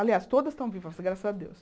Aliás, todas estão vivas, graças a Deus.